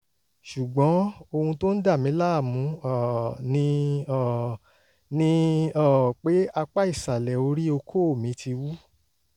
ṣùgbọ́n ohun tó ń dà mí láàmú um ni um ni um pé apá ìsàlẹ̀ orí okó mi ti wú